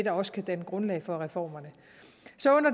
også kan danne grundlag for reformerne så